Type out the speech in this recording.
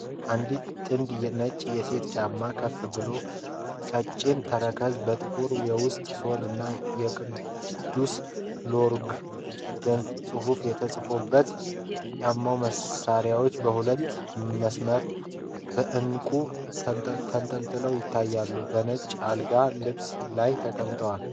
አንዲት ጥንድ ነጭ የሴቶች ጫማዎች ከፍ ባለ ቀጭን ተረከዝና በጥቁር የውስጥ ሶል ላይ የቅዱስ ሎረንት (SAINT LAURENT) ጽሑፍ ተጽፎባቸዋል። የጫማዎቹ ማሰሪያዎች በሁለት መስመር በዕንቁ ተንጣጥበው ይታያሉ፤ በነጭ የአልጋ ልብስ ላይ ተቀምጠዋል።